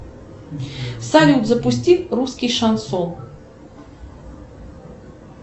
салют запусти русский шансон